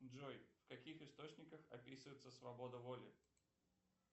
джой в каких источниках описывается свобода воли